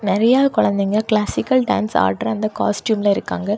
நெறைய குழந்தைக classical dance ஆடுற அந்த காஸ்ட்யூம்ல இருக்காங்க.